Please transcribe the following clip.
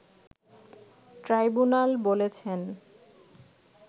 tribunal বলেছেন